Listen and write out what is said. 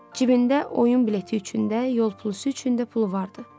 Cibində oyun bileti üçün də, yol pulu üçün də pulu vardı.